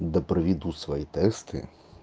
да проведут свои тесты